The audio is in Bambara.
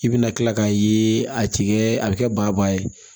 I bina kila k'a ye a tikɛ a bɛ kɛ ba ba ye